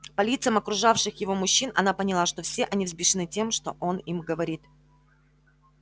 по лицам окружавших его мужчин она поняла что все они взбешены тем что он им говорит